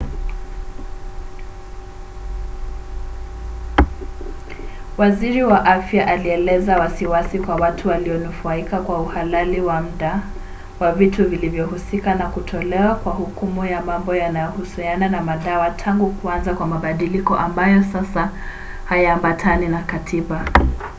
waziri wa afya alieleza wasiwasi kwa watu walionufaika kwa uhalali wa mda wa vitu vilivyohusika na kutolewa kwa hukumu ya mambo yanayohusiana na madawa tangu kuanza kwa mabadiliko ambayo sasa hayaambatani na katiba